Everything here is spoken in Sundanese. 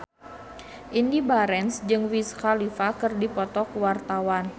Indy Barens jeung Wiz Khalifa keur dipoto ku wartawan